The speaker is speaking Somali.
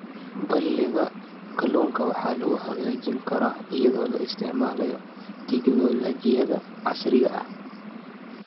Balliga kalluunka waxa lagu hagaajin karaa iyadoo la isticmaalayo tignoolajiyada casriga ah.